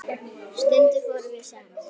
Stundum fórum við saman.